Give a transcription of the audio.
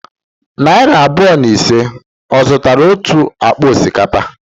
Narị abụọ na ise, ọ zụtara otu akpa osikapa?